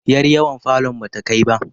yar yawon falon bata Kai ba